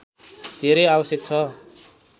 धेरै आवश्यक छ